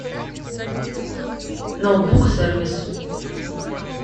ноутбук сервис